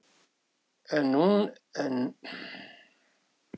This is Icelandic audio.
En pabbi var nú fullorðinn maður.